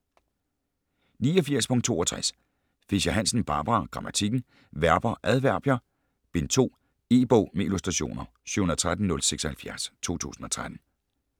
89.62 Fischer-Hansen, Barbara: Grammatikken: Verber, adverbier: Bind 2 E-bog med illustrationer 713076 2013.